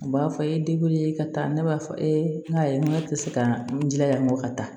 U b'a fɔ e ye ka taa ne b'a fɔ e te se ka n jilaja n kɔ ka taa